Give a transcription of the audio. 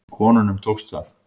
Konunum tókst það.